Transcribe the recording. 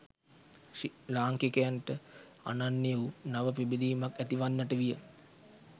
ලාංකිකයන්ට අනන්‍ය වූ නව පිබිදීමක් ඇතිවන්නට විය.